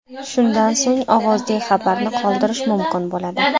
Shundan so‘ng ovozli xabarni qoldirish mumkin bo‘ladi.